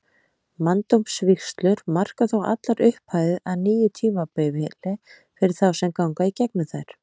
Manndómsvígslur marka þó allar upphafið að nýju tímabili fyrir þá sem ganga í gegnum þær.